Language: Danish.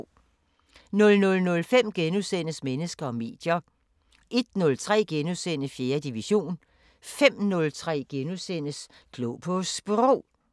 00:05: Mennesker og medier * 01:03: 4. division * 05:03: Klog på Sprog *